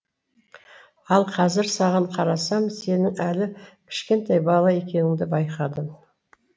ал қазір саған қарасам сенің әлі кішкентай бала екеніңді байқадым